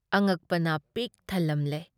ꯑꯉꯛꯄꯅ ꯄꯤꯛ ꯊꯜꯂꯝꯂꯦ ꯫